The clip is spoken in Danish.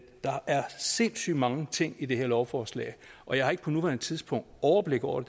der er sindssygt mange ting i det her lovforslag og jeg har ikke på nuværende tidspunkt overblik over